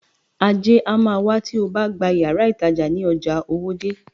Ajé a má wá tí obá gba yàrá ìtajà ní ojà Owódé.